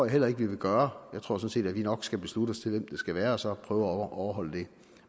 heller ikke vi vil gøre jeg tror sådan set at vi nok skal beslutte os til hvem det skal være og så prøve at overholde det